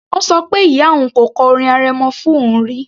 Ó ṣọ pé ìyá òun kò kọ orin arẹmọ fún òun rí